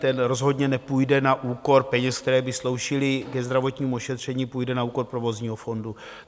Ten rozhodně nepůjde na úkor peněz, které by sloužily ke zdravotnímu ošetření, půjde na úkor provozního fondu.